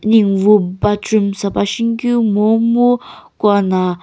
ninguwu bathroom sapa shinikeu momu kuana--